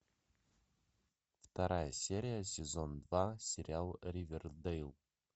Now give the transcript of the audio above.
вторая серия сезон два сериал ривердэйл